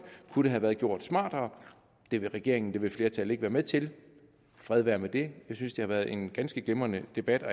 kunne det have været gjort smartere det vil regeringen det vil flertallet ikke være med til fred være med det jeg synes at været en ganske glimrende debat og